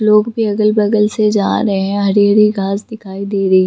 लोग भी अगल- बगल से जा रहे है हरी-हरी घास दिखाई दे रही --